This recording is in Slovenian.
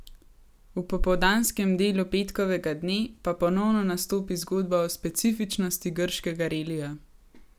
V popoldanskem delu petkovega dne pa ponovno nastopi zgodba o specifičnosti grškega relija.